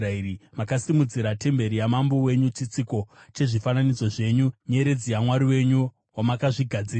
Makasimudzira temberi yamambo wenyu, chitsiko chezvifananidzo zvenyu, nyeredzi yamwari wenyu, wamakazvigadzirira.